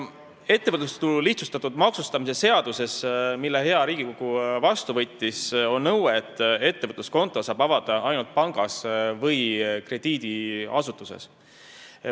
Ettevõtlustulu lihtsustatud maksustamise seaduses, mille hea Riigikogu on vastu võtnud, on nõue, et ettevõtluskonto saab avada ainult pangas või krediidiasutuses.